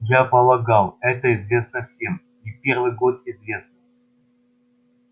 я полагал это известно всем не первый год известно